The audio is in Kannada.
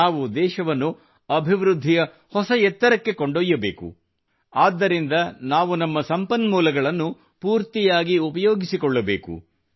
ನಾವು ದೇಶವನ್ನು ಅಭಿವೃದ್ಧಿಯ ಹೊಸ ಎತ್ತರಕ್ಕೆ ಕೊಂಡೊಯ್ಯಬೇಕು ಆದ್ದರಿಂದ ನಾವು ನಮ್ಮ ಸಂಪನ್ಮೂಲಗಳನ್ನು ಪೂರ್ತಿಯಾಗಿ ಉಪಯೋಗಿಸಿಕೊಳ್ಳಬೇಕು